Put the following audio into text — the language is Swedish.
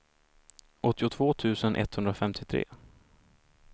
åttiotvå tusen etthundrafemtiotre